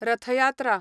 रथ यात्रा